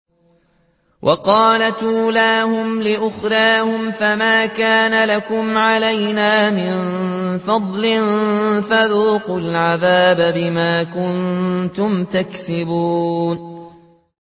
وَقَالَتْ أُولَاهُمْ لِأُخْرَاهُمْ فَمَا كَانَ لَكُمْ عَلَيْنَا مِن فَضْلٍ فَذُوقُوا الْعَذَابَ بِمَا كُنتُمْ تَكْسِبُونَ